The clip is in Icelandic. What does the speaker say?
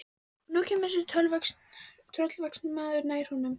Og nú kemur þessi tröllvaxni maður nær honum.